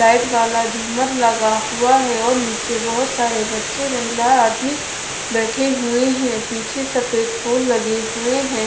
Light वाला झूमर लगा हुआ है और नीचे बहोत सारे बच्चे महिलाएं आदमी बैठे हुए है पीछे सफेद फूल लगे हुए है।